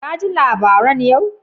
Ka ji labaran yau?